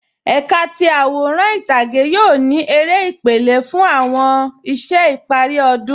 Ẹkà ti aworan itage yoo ni èrè ìpèlẹ̀ kan fun awọn iṣẹ̀ ìpari ọdun.